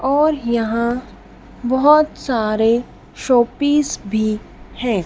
और यहां बहोत सारे शोपीस भी है।